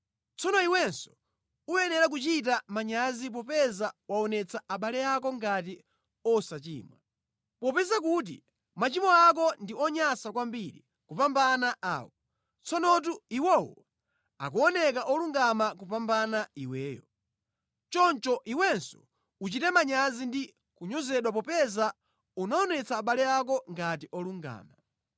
Tsono iwenso uyenera kuchita manyazi popeza waonetsa abale ako ngati osachimwa. Popeza kuti machimo ako ndi onyansa kwambiri kupambana awo, tsonotu iwowo akuoneka olungama kupambana iweyo. Choncho iwenso uchite manyazi ndi kunyozedwa popeza unaonetsa abale ako ngati olungama.